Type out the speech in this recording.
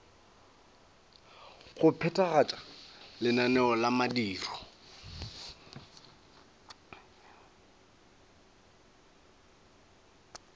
go phethagatša lenaneo la mediro